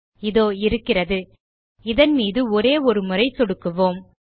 இதோ இருக்கிறது இதன் மீது ஒரே ஒரு முறை சொடுக்குவோம்